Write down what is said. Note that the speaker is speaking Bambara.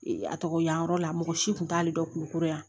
Ee a tɔgɔ di yan yɔrɔ la mɔgɔ si tun t'ale dɔn kulukoro yan